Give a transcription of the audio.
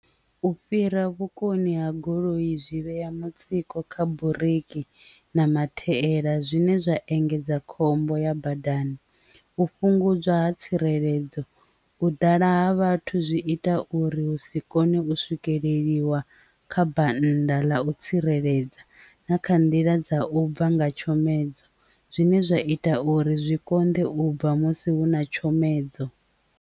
U fhira vhukoni ha goloi zwi vhea mutsiko kha buriki na mathaela zwine zwa engedza khombo ya badani, u fhungudziwa ha tsireledzo, u ḓala ha vhathu zwi ita uri hu si kone u swikelela ḽiwa kha banda ḽa u tsireledza na kha nḓila dza u bva nga tshomedzo zwine zwa ita uri zwi konḓe u bva musi hu na tshomedzo.